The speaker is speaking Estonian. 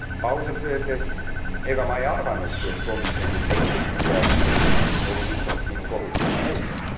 Ausalt öeldes, ega ma ei arvanudki, et komisjonis leiduks idealismi, oli lihtsalt minu kohus seda nõuda.